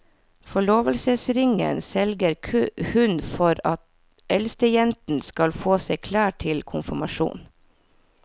Forlovelsesringen selger hun for at eldstejenten skal få seg klær til konfirmasjonen.